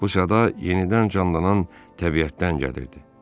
Bu səda yenidən canlanan təbiətdən gəlirdi.